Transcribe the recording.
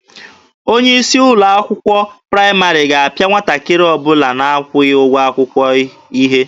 Onye isi ụlọ akwụkwọ praịmarị ga-apịa nwatakịrị ọbụla na-akwụghị ụgwọ akwụkwọ ihe.